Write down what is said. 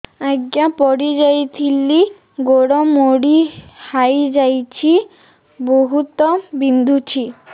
ଆଜ୍ଞା ପଡିଯାଇଥିଲି ଗୋଡ଼ ମୋଡ଼ି ହାଇଯାଇଛି ବହୁତ ବିନ୍ଧୁଛି